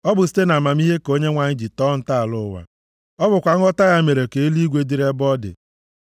Ọ bụ site nʼamamihe ka Onyenwe anyị ji tọọ ntọala ụwa; ọ bụkwa nghọta ya mere ka eluigwe dịrị ebe ọ dị.